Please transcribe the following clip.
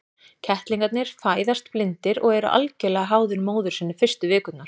Kettlingarnir fæðast blindir og eru algjörlega háðir móður sinni fyrstu vikurnar.